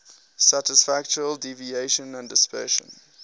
statistical deviation and dispersion